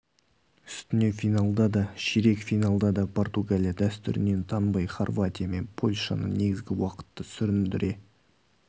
үстіне финалда да ширек финалда да португалия дәстүрінен танбай хорватия мен польшаны негізгі уақытты сүріндіре